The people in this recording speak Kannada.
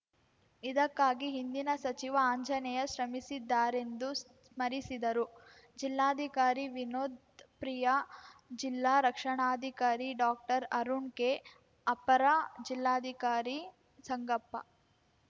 ಇದಕ್ಕಾಗಿ ಹಿಂದಿನ ಸಚಿವ ಆಂಜನೇಯ ಶ್ರಮಿಸಿದ್ದಾರೆಂದು ಸ್ಮರಿಸಿದರು ಜಿಲ್ಲಾಧಿಕಾರಿ ವಿನೋತ್‌ ಪ್ರಿಯಾ ಜಿಲ್ಲಾ ರಕ್ಷಣಾಧಿಕಾರಿ ಡಾಕ್ಟರ್ ಅರುಣ್‌ ಕೆ ಅಪರ ಜಿಲ್ಲಾಧಿಕಾರಿ ಸಂಗಪ್ಪ